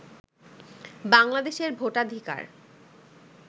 বাংলাদেশের ভোটাধিকার